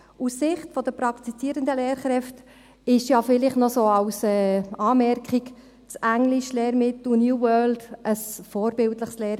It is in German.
Aus Sicht der praktizierenden Lehrkräfte – dies vielleicht so als Anmerkung – ist das Englischlehrmittel «New World» ein vorbildliches Lehrmittel;